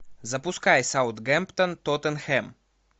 запускай саутгемптон тоттенхэм